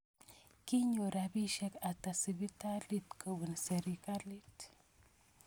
Kinyor rapisyek ata sipitalit kopun sirikalit?